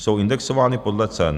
Jsou indexovány podle cen.